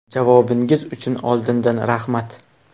Javobingiz uchun oldindan rahmat.